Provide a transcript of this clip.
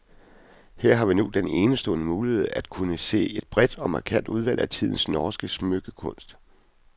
Her vi nu har den enestående mulighed at kunne se et bredt og markant udvalg af tidens norske smykkekunst.